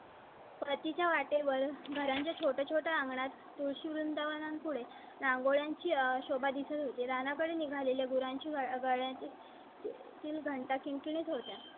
परती च्या वाटेवर घरांच्या छोटय़ा छोटय़ा अंगणात तुळशी वृंदावना पुढे रांगोळ्यांची शोभा दिसत होती. राणा कडे निघालेल्या गुरांची गाळ्यांचे. तील घंटा किंकिणी होत्या.